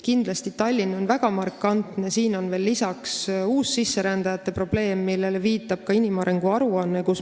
Kindlasti on Tallinn väga markantne näide, siin on veel lisaks uussisserändajate probleem, millele viitab ka inimarengu aruanne.